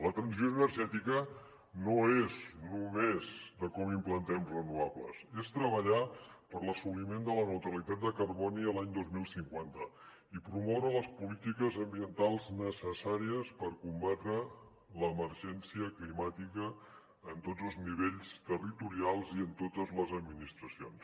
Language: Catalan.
la transició energètica no és només com implantem renovables és treballar per l’assoliment de la neutralitat de carboni l’any dos mil cinquanta i promoure les polítiques ambientals necessàries per combatre l’emergència climàtica en tots els nivells territorials i en totes les administracions